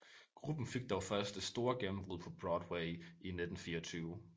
Gruppen fik dog først det store gennembrud på Broadway i 1924